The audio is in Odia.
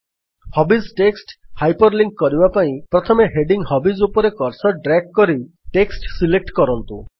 ହବିଜ୍ ଟେକ୍ସଟ୍ ହାଇପର୍ ଲିଙ୍କ୍ କରିବା ପାଇଁ ପ୍ରଥମେ ହେଡିଙ୍ଗ୍ ହବିଜ୍ ଉପରେ କର୍ସର୍ ଡ୍ରାଗ୍ କରି ଟେକ୍ସଟ୍ ସିଲେକ୍ଟ କରନ୍ତୁ